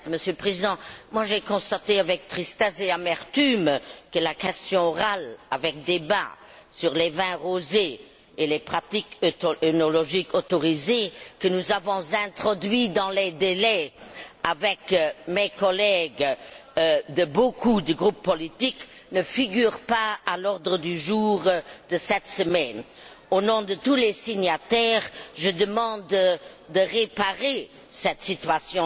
Monsieur le Président, j'ai constaté avec tristesse et amertume que la question orale avec débat sur les vins rosés et les pratiques œnologiques autorisées que nous avons introduites dans les délais avec mes collègues d'un grand nombre de groupes politiques, ne figurait pas à l'ordre du jour de cette semaine. Au nom de tous les signataires, je demande qu'il soit remédié à cette situation.